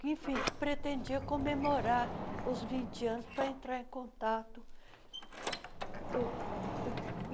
enfim que pretendia comemorar os vinte anos para entrar em contato. uh